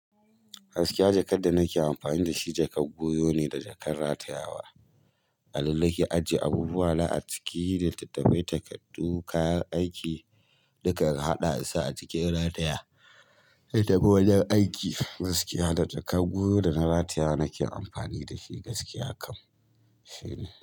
Gaskiya jakar da nake amfani da shi jakar goyo ne da jakar ratayawa. A nan nake ajiye abubuwa na a ciki da littattafai, takardu, kayan aiki na kan haɗa su a ciki in rataya. Na kan tafi wajen aiki gaskiya da jakar goyo da na ratayawa nake amfani dashi gaskiya kam. Shine.